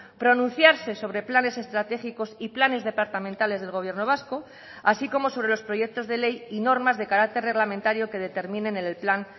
pronunciarse sobre planes estratégicos y planes departamentales del gobierno vasco así como sobre los proyectos de ley y normas de carácter reglamentario que determinen en el plan